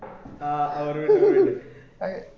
ആ ഓർമ്മ ഇണ്ട